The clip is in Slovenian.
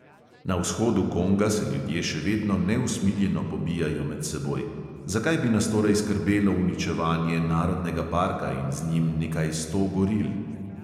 Na vzhodu konga se ljudje še vedno neusmiljeno pobijajo med seboj, zakaj bi nas torej skrbelo uničevanje narodnega parka in z njim nekaj sto goril?